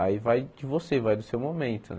Aí vai de você, vai do seu momento né.